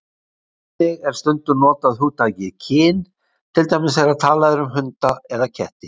Einnig er stundum notað hugtakið kyn, til dæmis þegar talað er um hunda eða ketti.